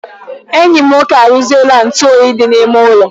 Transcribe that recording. Enyi m nwoke arụziela ntụ oyi dị n'ime ụlọ